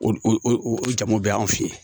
O o o jamu bɛɛ y'an fe ye